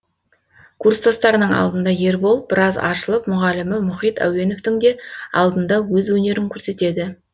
курстастарының алдында ербол біраз ашылып мұғалімі мұхит әуеновтің де алдында өз өнерін көрсетеді